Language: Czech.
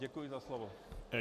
Děkuji za slovo.